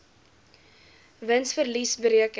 wins verlies bereken